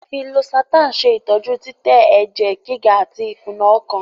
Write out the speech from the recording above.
a lẹ fí Losartan ṣe ìtọjú titẹ èjè gíga (haipatensonu) àti ikuna ọkàn.